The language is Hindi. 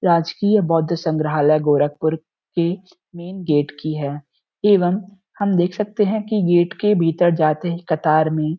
राज्यकीय बोध समरहाला गोरख्पुर के मैंन गेट की है एवं हम देख सकते है की गेट के भीतर जाते ही कतार में --